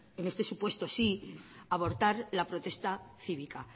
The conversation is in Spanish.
en este supuesto abortar la protesta cívica